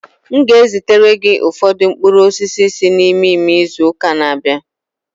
M ga-ezitere gị ụfọdụ mkpụrụ osisi si n'ime ime izu ụka na-abịa.